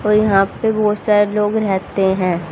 और यहां पे बहोत सारे लोग रेहते हैं।